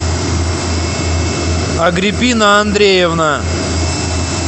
агриппина андреевна